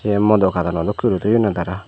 ye modo kaadon dokke guri toyonne tara.